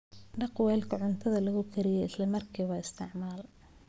Dhaq weelka cuntada lagu kariyo isla markaaba isticmaal.